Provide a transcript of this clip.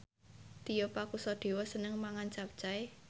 Tio Pakusadewo seneng mangan capcay